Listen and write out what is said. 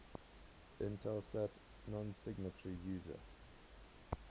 intelsat nonsignatory user